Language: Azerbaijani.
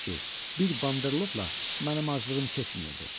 ki, bir banderloqla mənim aclığım keçməyəcək.